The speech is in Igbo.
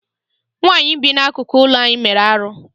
Nwaanyị a bi n'akụkụ ụlọ anyị mere arụ.